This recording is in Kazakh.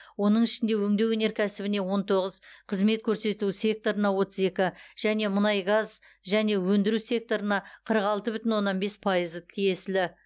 оның ішінде өңдеу өнеркәсібіне он тоғыз қызмет көрсету секторына отыз екі және мұнай газ және өндіру секторына қырық алты бүтін оннан бес пайызы тиесілі